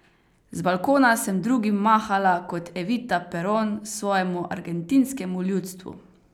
Z balkona sem drugim mahala kot Evita Peron svojemu argentinskemu ljudstvu!